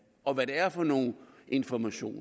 og hvad det er for nogle informationer